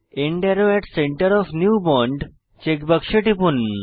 and আরো at centre of new bond check বাক্সে টিপুন